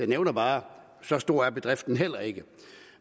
nævner bare at så stor er bedriften heller ikke